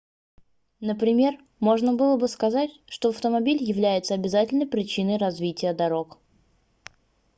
например можно было бы сказать что автомобиль является обязательной причиной развития дорог